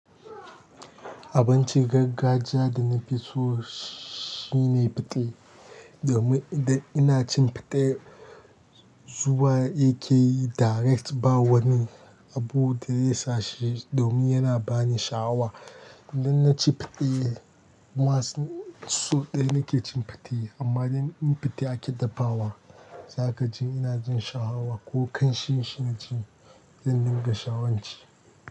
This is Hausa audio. Abincin gargajiya da na fi so shine fite. Domin da ina cin fate zuwa yakeyi direct ba wa ni abu da zai sa shi domin yana ba ni sha'awa. Idan na ci fate, masu so ɗaya nake cin fate amma idan in fate ake dafawa, za ka ji ina jin sha'awa ko ƙanshin shi na ci, zan dinga sha'awanci.